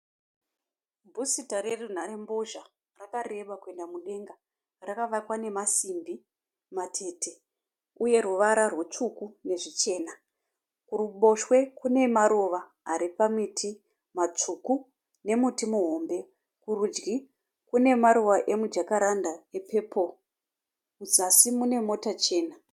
Bhusita rerunharembozha rakareba kuenda mudenga. Rakavakwa nemasimbi matete uye ruvara rwutsvuku nezvichena. Kuruboshwe kune maruva ari pamiti matsvuku nemuti muhombe. Kurudyi kune maruva emujakaranda epepuro. Muzasi mune mota chena.